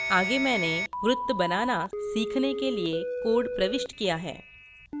आगे मैंने वृत्त बनाना सीखने के लिए code प्रविष्ट किया है